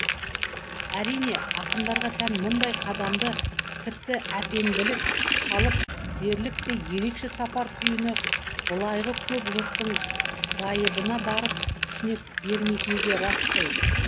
әрине ақындарға тән мұндай қадамды тіпті әпенділік қалып дерліктей ерекше сапар түйіні былайғы көп жұрттың байыбына барып түсіне бермейтіні де рас қой